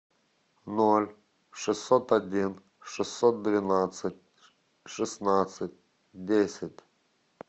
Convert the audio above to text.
ноль шестьсот один шестьсот двенадцать шестнадцать десять